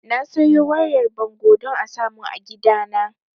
Na sayo wayar bango don a samun a gidana